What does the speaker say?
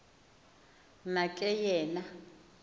na ke yena